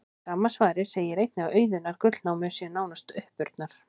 Í sama svari segir einnig að auðunnar gullnámur séu nánast uppurnar.